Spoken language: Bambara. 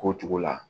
K'o cogo la